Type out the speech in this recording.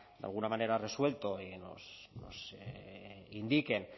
de alguna manera resuelto y nos indiquen